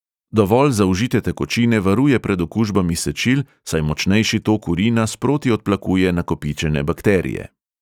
Dovolj zaužite tekočine varuje pred okužbami sečil, saj močnejši tok urina sproti odplakuje nakopičene bakterije.